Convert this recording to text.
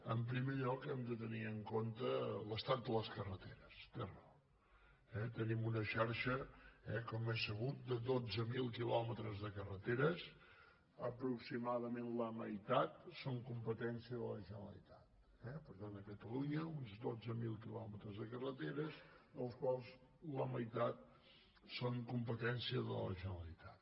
en primer lloc hem de tenir en compte l’estat de les carreteres té raó eh tenim una xarxa com és sabut de dotze mil quilòmetres de carreteres aproximadament la meitat són competència de la generalitat eh per tant a catalunya uns dotze mil quilòmetres de carreteres dels quals la meitat són competència de la generalitat